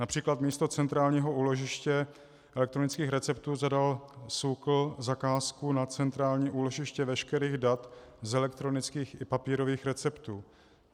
Například místo centrálního úložiště elektronických receptů zadal SÚKL zakázku na centrální úložiště veškerých dat z elektronických i papírových receptů.